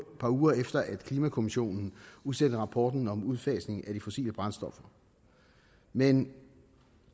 par uger efter at klimakommissionen udsender rapporten om udfasning af de fossile brændstoffer men